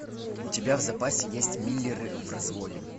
у тебя в запасе есть миллеры в разводе